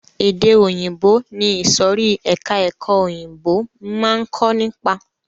Èdè òyìnbó ni ìsòrí ẹka ẹ̀kọ́ òyìnbó máa ń kó nípa.